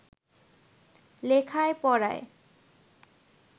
লেখায় পড়ায়